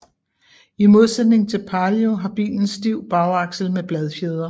I modsætning til Palio har bilen stiv bagaksel med bladfjedre